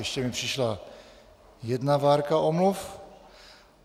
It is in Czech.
Ještě mi přišla jedna várka omluv.